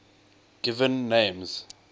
given names